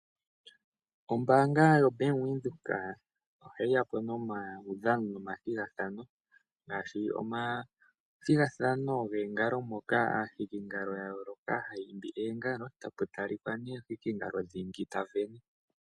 Ombaanga yoBank Windhoek ohayi ya po nomaudhano nomathogathano, ngaashi omathigathano goongalo moka aahikingalo ya yoolokahaya hiki oongalo po tapu talika nduno omuhikingalo dhingi ngoka ta sindana.